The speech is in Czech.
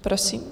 Prosím.